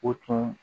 O tun